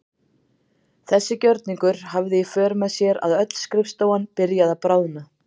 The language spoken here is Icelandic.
Þessi gjörningur hafði í för með sér að öll skrifstofan byrjaði að bráðna.